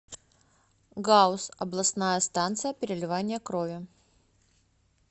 гауз областная станция переливания крови